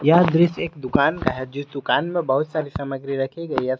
यह एक दृश्य एक दुकान का है जिस दुकान में बहुत सारी सामग्री रखी गई है।